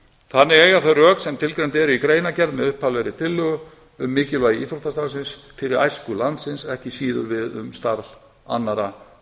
þannig eiga þau rök sem tilgreind eru í greinargerð með upphaflegri tillögu um mikilvægi íþróttastarfsins fyrir æsku landsins ekki síður við um starf annarra